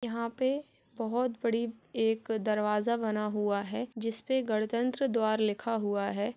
यहाँ पे बहुत बड़ी एक दरवाजा बना हुआ है जिस पर गणतंत्र द्वारा लिखा हुआ है।